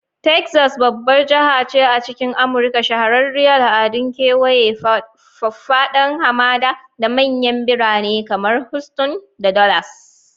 Texas babbar jaha ce a cikin Amurka, shahararriyar al'adun kawaye, faffadan hamada, da manyan birane kamar Houston da Dallas.